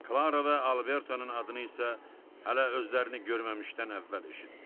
Klara və Albertonun adını isə hələ özlərini görməmişdən əvvəl eşitmişdi.